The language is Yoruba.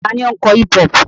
Ta ni ó ń kọ hip-hop?